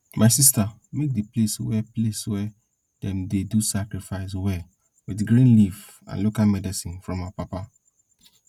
my sister make di place wey place wey dem dey do sacrifice well with green leaf and local medicine from our papa